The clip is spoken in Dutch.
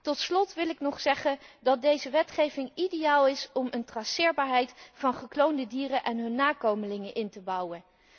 Tot slot wil ik ook nog zeggen dat deze wetgeving ideaal is om traceerbaarheid van gekloonde dieren en hun nakomelingen in te bouwen.